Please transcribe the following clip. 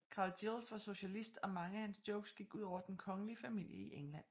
Carl Giles var socialist og mange af hans jokes gik ud over den kongelige familie i England